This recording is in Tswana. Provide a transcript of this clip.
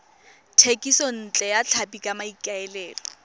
thekisontle ya tlhapi ka maikaelelo